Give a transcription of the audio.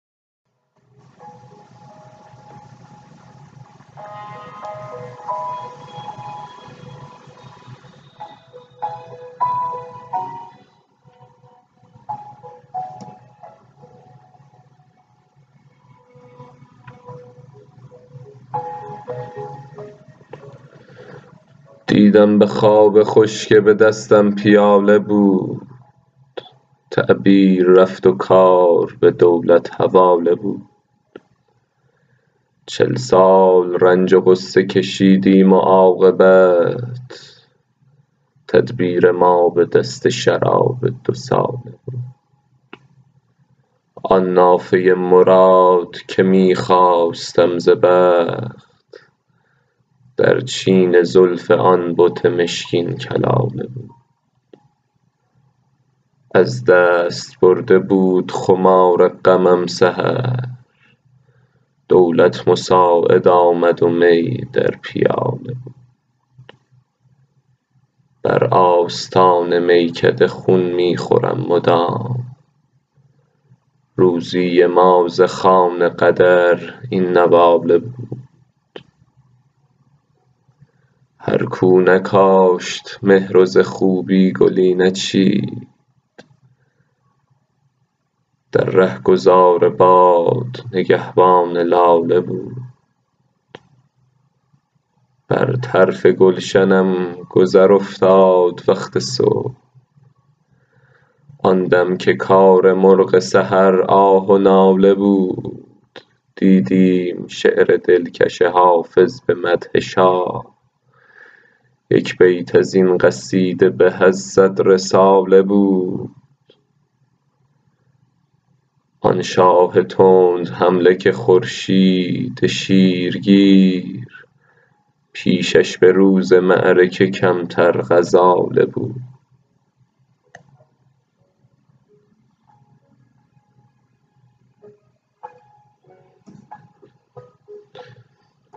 دیدم به خواب خوش که به دستم پیاله بود تعبیر رفت و کار به دولت حواله بود چل سال رنج و غصه کشیدیم و عاقبت تدبیر ما به دست شراب دوساله بود آن نافه مراد که می خواستم ز بخت در چین زلف آن بت مشکین کلاله بود از دست برده بود خمار غمم سحر دولت مساعد آمد و می در پیاله بود بر آستان میکده خون می خورم مدام روزی ما ز خوان قدر این نواله بود هر کو نکاشت مهر و ز خوبی گلی نچید در رهگذار باد نگهبان لاله بود بر طرف گلشنم گذر افتاد وقت صبح آن دم که کار مرغ سحر آه و ناله بود دیدیم شعر دلکش حافظ به مدح شاه یک بیت از این قصیده به از صد رساله بود آن شاه تندحمله که خورشید شیرگیر پیشش به روز معرکه کمتر غزاله بود